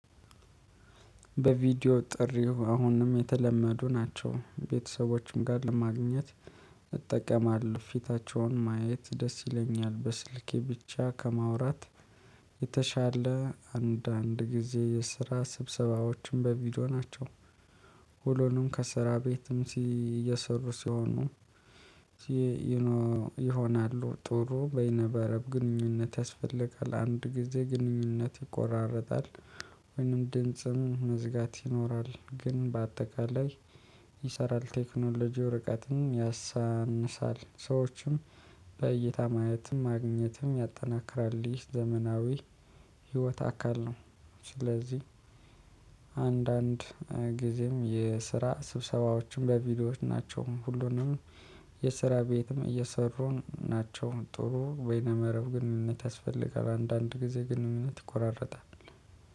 በቪዲዮ ጥሪው አሁንም የተለመዱ ናቸው። ቤተሰቦችም ጋር ለማግኘት እጠቀማለሁ። ፊታቸውን ማየት ደስ ይለኛል። በስልኬ ብቻ ከማውራት የተሻለ አንዳንድ ጊዜ የስራ ስብሰባዎችም በቪዲዮ ናቸው። ሁሉንም ከሰራ ቤትም ሲ እየሰሩ ሲሆኑ ሲ ይሆናሉ። ጥሩ በይነበረብ ግንኙነት ያስፈልጋል። አንድ ጊዜ ግንኙነት ይቆራረጣል ወይንም ድንጽም መዝጋት ይኖራል። ግን በአጠቃላይ ይሰራል። ቴክኖሎጂ እርቀትም ያሳንሳል ሰዎችም በእይታ ማየትም ማግኘትም ያጠናክራል ይህ ዘመናዊ ህይወት አካል ነው። ስለዚህ አንዳንድ ጊዜም የስራ ስብሰባዎችም በቪዲዮዎች ናቸው። ሁሉንም የስራ ቤትም እየሰሩን ናቸው። ጥሩ ወይነ መረብ ግንኙነት ያስፈልጋል። አንዳንድ ጊዜ ግንኙነት ይቆራረጣል።